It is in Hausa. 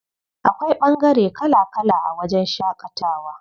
Akwai ɓangare kala kala a wajen shaƙatawa.